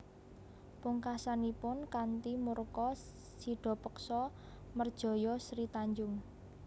Pungkasanipun kanthi murka Sidapaksa merjaya Sri Tanjung